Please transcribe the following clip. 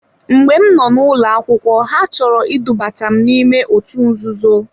Mgbe m noo n'ụlọ akwụkwọ ha chọrọ idubata m n'ime otu nzuzo.